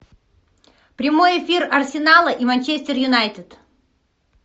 прямой эфир арсенала и манчестер юнайтед